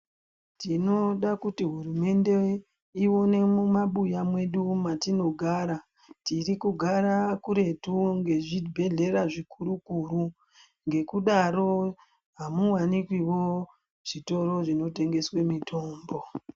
Tinoda kuti hurumende yedu ione mumabuya mwetinogara tinogara, tiri kugara kuretuwo ngeezvibhehleya zvikuru kuru ngekudaro amuwanikwiwo zvitoro zvinotengeswe mitombo.